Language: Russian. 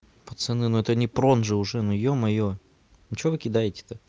пацаны но это не прон же уже ну ё-моё ну что вы кидаете то